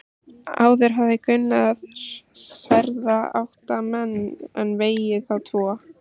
Áður hafði Gunnar særða átta menn en vegið þá tvo.